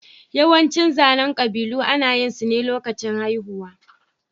Yawancin zanen ƙabilu ana yin su ne lokacin haihuwa.